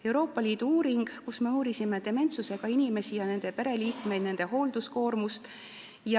Euroopa Liidu uuringus me uurisime dementsusega inimesi ning nende pereliikmeid ja pereliikmete hoolduskoormust.